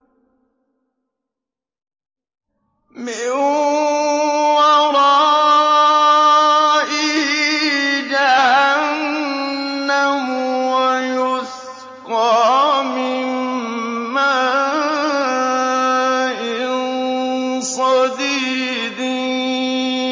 مِّن وَرَائِهِ جَهَنَّمُ وَيُسْقَىٰ مِن مَّاءٍ صَدِيدٍ